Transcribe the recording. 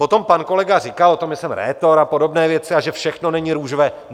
Potom pan kolega říkal o tom, že jsem rétor a podobné věci a že všechno není růžové.